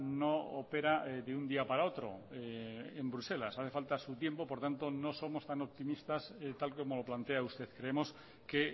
no opera de un día para otro en bruselas hace falta su tiempo por tanto no somos tan optimistas tal como lo plantea usted creemos que